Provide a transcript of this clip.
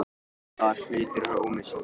Hvaða hlutur er ómissandi?